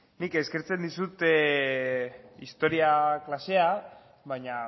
nik eskertzen dizut historia klasea baina